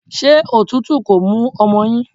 Ṣé òtútù kò mú ọmọ yín?